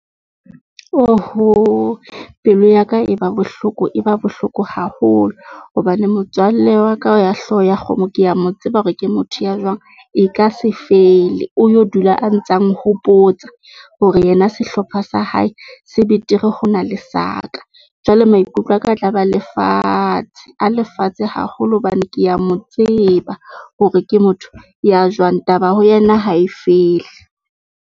Oho, pelo ya ka e ba bohloko e ba bohloko haholo hobane motswalle wa ka wa hlooho ya kgomo. Ke ya mo tseba hore ke motho ya jwang e ka se fele. O yo dula a ntsa nghopotsa hore yena sehlopha sa hae se betere, ho na le sa ka jwale maikutlo aka tla ba a le fatshe a le fatshe haholo hobane ke ya mo tseba hore ke motho ya jwang taba ho yena ha e fele.